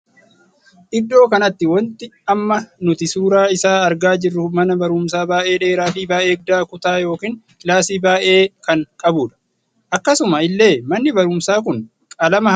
Iddoo kanatti wanti amma nuti suuraa isaa argaa jirru mana barumsaa baay'ee dheeraa fi baay'ee guddaa kutaa ykn kilaasii baay'ee kan qabudha. akkasuma illee manni barumsaa kun qalama halluu lamaan dibamee jira.